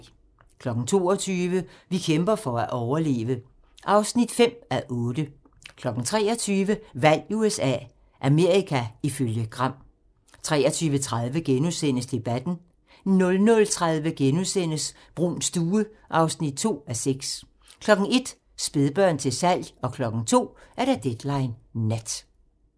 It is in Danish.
22:00: Vi kæmper for at overleve (5:8) 23:00: Valg i USA - Amerika ifølge Gram 23:30: Debatten * 00:30: Bruuns stue (2:6)* 01:00: Spædbørn til salg 02:00: Deadline Nat